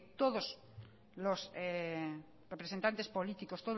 todos los representantes políticos